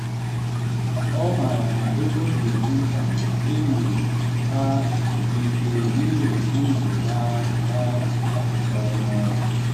ọ ma na ego dị mkpa ma enyi ha siri ike n’ihi ndụ ha ha kesara ọnụ.